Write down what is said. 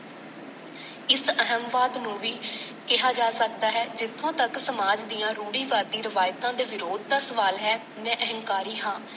ਇਸ ਅਹਮਵਾਦ ਨੂੰ ਵੀ ਕਿਹਾ ਜਾ ਸਕਦਾ ਹੈ ਜਿੱਥੋਂ ਤੱਕ ਸਮਾਜ ਦੀਆਂ ਰੂੜੀਵਾਦੀ ਰਿਵਾਇਤਾਂ ਦੇ ਵਿਰੋਧ ਦਾ ਸਵਾਲ ਹੈ ਮੈਂ ਅਹੰਕਾਰੀ ਹਾਂ।